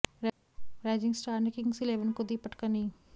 rising Star ने Kings Eleven को दी पटकनी